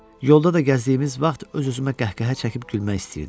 Yolda da gəzdiyimiz vaxt öz-özümə qəhqəhə çəkib gülmək istəyirdim.